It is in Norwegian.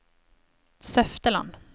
Søfteland